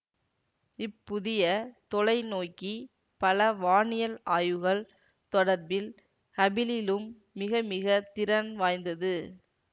இப் புதிய தொலைநோக்கி பல வானியல் ஆய்வுகள் தொடர்பில் ஹபிளிலும் மிகமிக திறன் வாய்ந்தது